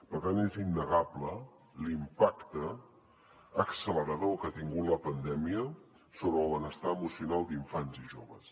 per tant és innegable l’impacte accelerador que ha tingut la pandèmia sobre el benestar emocional d’infants i joves